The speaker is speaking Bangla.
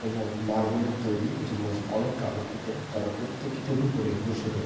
এবং মার্বেলের তৈরী একটি মসজিদ। অনেকটা আলোকিত। তারা প্রত্যেকে টুপি পরে বসে আছে।